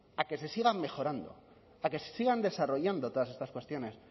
a que se siga mejorando a que sigan desarrollando todas estas cuestiones